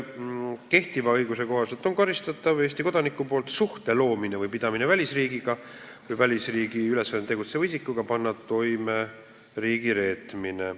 Kehtiva õiguse kohaselt on karistatav Eesti kodaniku poolt suhte loomine või pidamine välisriigiga või välisriigi ülesandel tegutseva isikuga eesmärgiga panna toime riigireetmine.